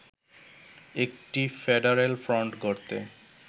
একটি ‘federal front’ গড়তে